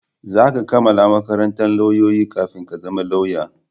Za ka kammala makarantan lauyoyi kafin ka zama lauya